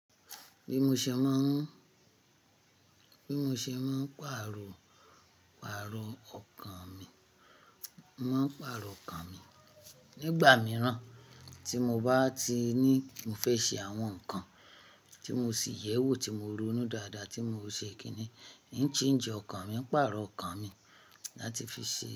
Bí mo ṣe máa ń, bí mo ṣe máa ń pàrọ̀, pàrọ̀ ọkàn mi, máa ń pàrọ̀ ọkàn mi nígbà mìíràn tí mo bá ti ní mo fẹ́ ṣe àwọn nǹkan tí mo sì yẹ̀wò tí mo ronú dáadáa tí mo ò ṣe kíni, ì ń change ọkàn mi, n pàrọ̀ ọkàn mi láti fi ṣe.